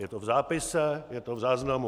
Je to v zápise, je to v záznamu.